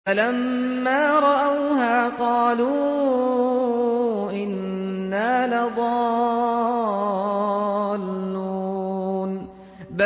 فَلَمَّا رَأَوْهَا قَالُوا إِنَّا لَضَالُّونَ